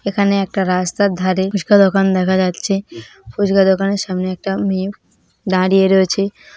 এখানে একটা রাস্তার ধারে ফুচকা দোকান দেখা যাচ্ছে। ফুচকা দোকানের সামনে একটা মেয়ে দাঁড়িয়ে রয়েছে।